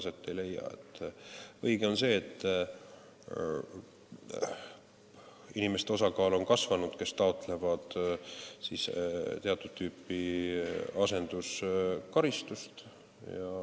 Õige on see, et on kasvanud nende inimeste osakaal, kes taotlevad teatud tüüpi asenduskaristust.